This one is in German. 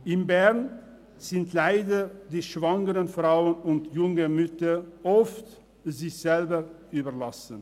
In Bern sind die schwangeren Frauen und jungen Mütter leider oft sich selbst überlassen.